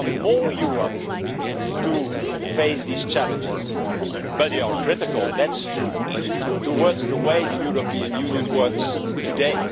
They want more Europe to face these challenges, but they are critical, it is true, of the way that the European Union works today.